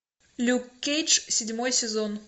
люк кейдж седьмой сезон